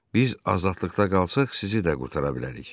Biz azadlıqda qalsaq, sizi də qurtara bilərik.